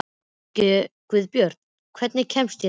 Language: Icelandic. Guðbjört, hvernig kemst ég þangað?